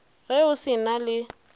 ge o se na le